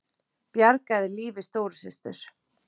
Bjargaði lífi stóru systur